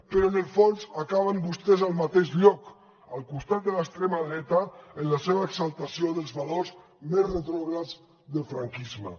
però en el fons acaben vostès al mateix lloc al costat de l’extrema dreta en la seva exaltació dels valors més retrògrads del franquisme